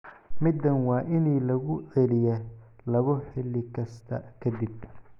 midan waa inii laguu celiya labo hilli kasta ka dib